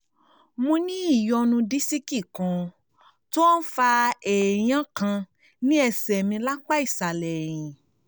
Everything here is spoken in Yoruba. mo ní ìyọnu disiki kan tó ń fa èèyàn kan ní ẹ̀sẹ̀ mi lápá ìsàlẹ̀ ẹ̀yìn